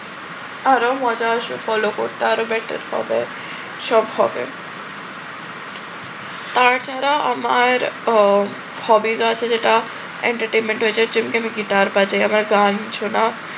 আরো মজা আসবে follow করতে আরও better হবে সব হবে তার চেহারা আমার hobbies আছে যেটা entertainment wise গিটার বাজাই। আবার গান শোনাও